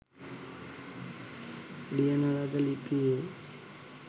ලියන ලද ලිපි වේ.